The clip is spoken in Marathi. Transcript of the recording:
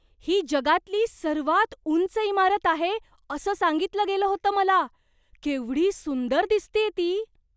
ही जगातली सर्वात उंच इमारत आहे असं सांगितलं गेलं होतं मला. केवढी सुंदर दिसतेय ती!